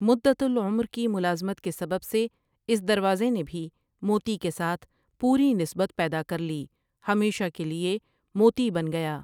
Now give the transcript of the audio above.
مدت العمر کی ملازمت کے سبب سے اس دروازے نے بھی موتی کے ساتھ پوری نسبت پیدا کر لی ہمیشہ کے لیے موتی بن گیا ۔